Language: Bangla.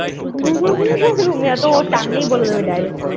রুমিয়া তো ওর সামনেই বলে দেব direct